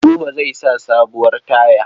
Buba zai sa sabuwar taya.